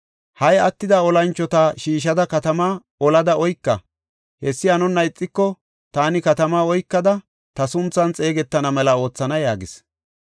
Ha77i attida olanchota shiishada katama olada oyka. Hessi hanonna ixiko, taani katamaa oykada ta sunthan xeegetana mela oothana” yaagis.